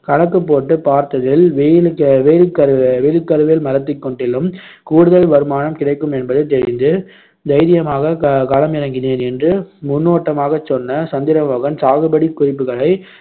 கணக்குப் போட்டுப் பார்த்ததில் வெயிலுக்~ வெயில்கருவே~ வேலிக்கருவேல மரத்தைக் காட்டிலும் கூடுதல் வருமானம் கிடைக்கும் என்பது தெரிந்து தைரியமாகக் க~ களமிறங்கினேன் என்று முன்னோட்டமாகச் சொன்ன சந்திரமோகன் சாகுபடி குறிப்புகளை